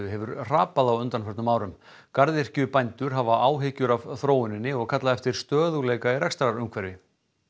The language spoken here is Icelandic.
hefur hrapað á undanförnum árum garðyrkjubændur hafa áhyggjur af þróuninni og kalla eftir stöðugleika í rekstrarumhverfi